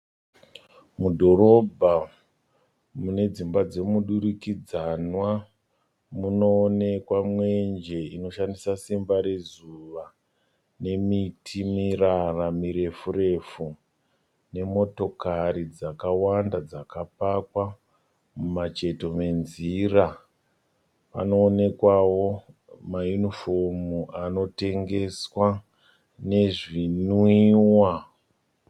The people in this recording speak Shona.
Mudhorobha mune dzimba dzemudurikidzwana. Munoonekwa mwenje inoshandisa simba rezuva nemiti mirara mirefu refu nemotokari dzakawanda dzakapakwa mumacheto menzira. Panoonekwao ma yunifomu anotengeswa nezvimwiwa.